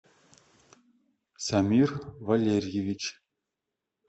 самир валерьевич